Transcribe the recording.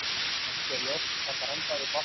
Ekki er ljóst hvað grandaði bátnum